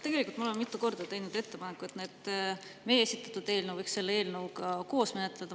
Tegelikult ma olen mitu korda teinud ettepaneku, et meie esitatud eelnõu võiks selle eelnõuga koos menetleda.